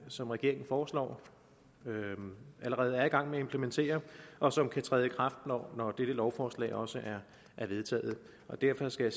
som regeringen foreslår og allerede er i gang med at implementere og som kan træde i kraft når dette lovforslag også er vedtaget derfor skal